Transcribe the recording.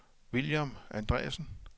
William Andreassen